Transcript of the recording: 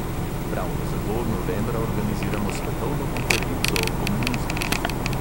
Ravno zato novembra organiziramo svetovno konferenco o komunizmu.